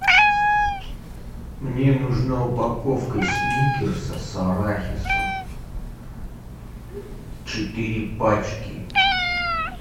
мне нужна упаковка сникерса с арахисом четыре пачки